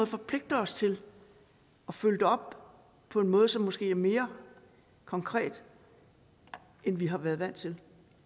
forpligter os til at følge det op på en måde som måske er mere konkret end vi har været vant til